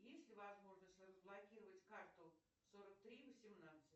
есть ли возможность разблокировать карту сорок три восемнадцать